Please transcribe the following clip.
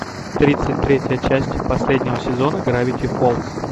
тридцать третья часть последнего сезона гравити фолз